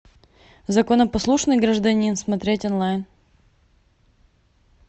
законопослушный гражданин смотреть онлайн